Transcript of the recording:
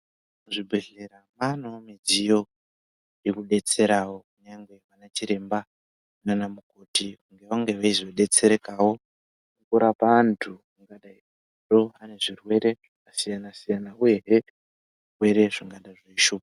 Muzvi bhedhlera mwaanewo midziyo yekubetserawo kunyange anachiremba naanamukoti kuti vange veizo detserekawo kurapa antu angadai ane zvirwere zvakasiyana siyana uyehe zvirwere zvingadai zveishupha